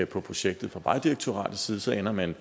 på projektet fra vejdirektoratet side så ender man